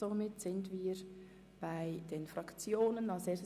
Somit sind wir bei den Fraktionen angelangt.